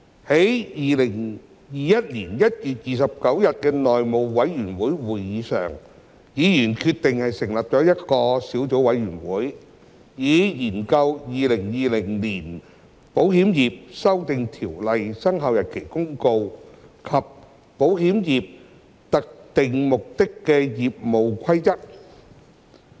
在2021年1月29日的內務委員會會議上，議員決定成立一個小組委員會，以研究《〈2020年保險業條例〉公告》及《保險業規則》。